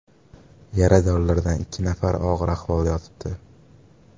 Yaradorlardan ikki nafari og‘ir ahvolda yotibdi.